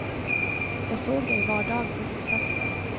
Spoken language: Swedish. Jag såg dig var dag från mitt fönster.